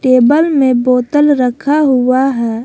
Table में बोतल रखा हुआ है।